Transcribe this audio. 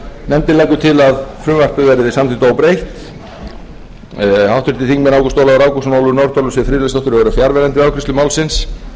nefndin leggur til að frumvarpið verði samþykkt óbreytt háttvirtir þingmenn ágúst ólafur ágústsson ólöf nordal og siv friðleifsdóttir voru fjarverandi við afgreiðslu málsins